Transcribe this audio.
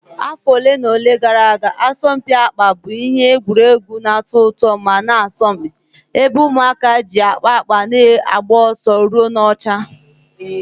Afọ ole na ole gara aga, asọmpi akpa bụ ihe egwuregwu na-atọ ụtọ ma na-asọmpi, ebe ụmụaka ji akpa akpa na-agba ọsọ ruo n'ọcha.